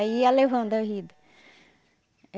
Aí ia levando a vida.